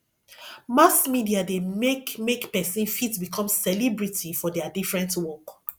mass media de make make persin fit become celebrity for their different work